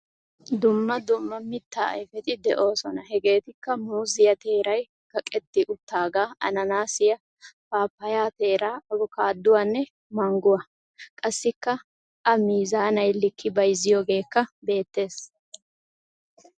Dumma dumma mittaa ayifeti de'oosona. Hegeetikkaa muuziya teeray kaqetti uttaagaa, ananaasiya, paappayaa teeraa, abkaaduwanne mangguwa. Qassikka a miizaanay likki bayizziyogeekka beettes.